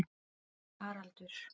Haraldur